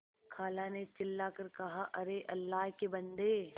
खाला ने चिल्ला कर कहाअरे अल्लाह के बन्दे